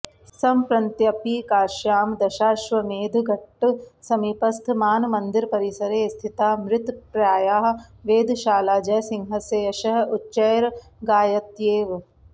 सम्प्रंत्यपि काश्यां दशाश्वमेधघट्टसमीपस्थमानमन्दिरपरिसरे स्थिता मृतप्राया वेधशाला जयसिहंस्य यशः उच्चैर्गायत्येव